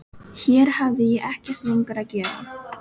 Hér hafði ég ekkert lengur að gera.